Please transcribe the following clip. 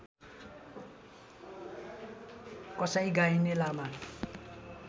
कसाई गाइने लामा